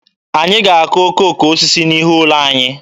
Anyị ga-akụ okooko osisi n'ihu ụlọ anyị.